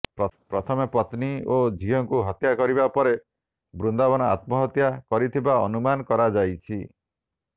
ପ୍ରଥମେ ପତ୍ନୀ ଓ ଝିଅଙ୍କୁ ହତ୍ୟା କରିବା ପରେ ବୃନ୍ଦାବନ ଆତ୍ମହତ୍ୟା କରିଥିବା ଅନୁମାନ କରାଯାଇଛି